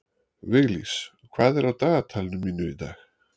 Viglís, hvað er á dagatalinu mínu í dag?